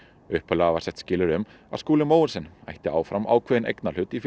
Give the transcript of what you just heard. upphaflega var sett skilyrði um Skúli Mogensen ætti áfram ákveðinn eignarhlut í